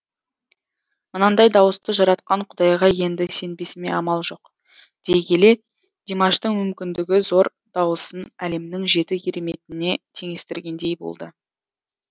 мынандай дауысты жаратқан құдайға енді сенбесіме амал жоқ дей келе димаштың мүмкіндігі зор дауысын әлемнің жеті кереметіне теңестіргендей болды